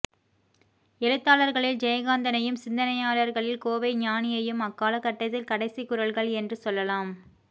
எழுத்தாளர்களில் ஜெயகாந்தனையும் சிந்தனையாளர்களில் கோவை ஞானியையும் அக்காலகட்டத்தின் கடைசிக் குரல்கள் என்று சொல்லலாம்